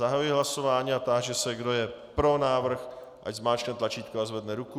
Zahajuji hlasování a táži se, kdo je pro návrh, ať zmáčkne tlačítko a zvedne ruku.